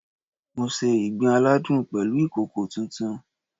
Mo se ìgbín aládùn pẹ̀lú ìkòkò tuntun